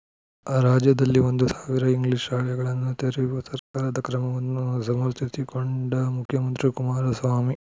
ರಾಜ್ಯದಲ್ಲಿ ಒಂದು ಸಾವಿರ ಇಂಗ್ಲೀಷ್ ಶಾಲೆಗಳನ್ನು ತೆರೆಯುವ ಸರ್ಕಾರದ ಕ್ರಮವನ್ನು ಸಮರ್ಥಿಸಿಕೊಂಡ ಮುಖ್ಯಮಂತ್ರಿ ಕುಮಾರಸ್ವಾಮಿ